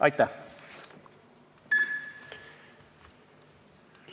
Aitäh!